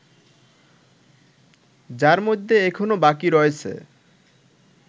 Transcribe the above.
যার মধ্যে এখনো বাকি রয়েছে